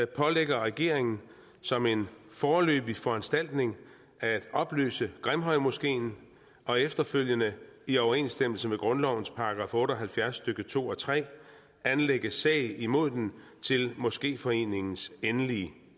pålægger regeringen som en foreløbig foranstaltning at opløse grimhøjmoskeen og efterfølgende i overensstemmelse med grundlovens § otte og halvfjerds stykke to og tre anlægge sag imod den til moskeforeningens endelige